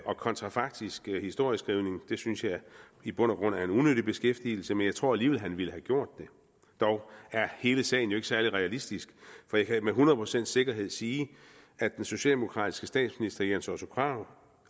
og kontrafaktisk historieskrivning synes jeg i bund og grund er en unødig beskæftigelse men jeg tror alligevel han ville have gjort det dog er hele sagen ikke særlig realistisk for jeg kan med hundrede procents sikkerhed sige at den socialdemokratiske statsminister jens otto krag